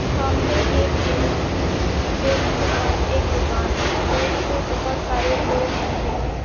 सामने एक डेरी दिख रही है डेरी के पास एक दुकान है डेरी मे बहुत सारे लोग खड़े है।